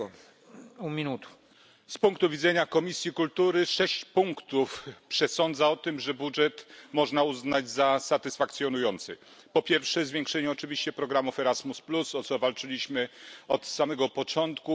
Panie Przewodniczący! Z punktu widzenia Komisji Kultury 6 punktów przesądza o tym, że budżet można uznać za satysfakcjonujący. Po pierwsze, zwiększenie oczywiście programów Erasmus, o co walczyliśmy od samego początku.